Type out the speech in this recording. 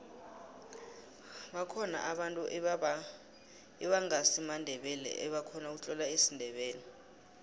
bakhona abantu ebangasimandebele ebakhona ukutlola isindebele